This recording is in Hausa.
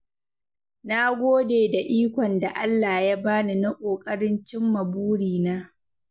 Na gode da ikon da Allah ya bani na ƙoƙarin cimma burina.